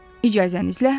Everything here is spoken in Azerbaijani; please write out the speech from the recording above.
İcazənizlə.